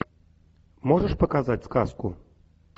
можешь показать сказку